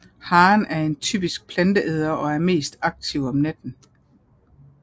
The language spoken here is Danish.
Haren er en typisk planteæder og er mest aktiv om natten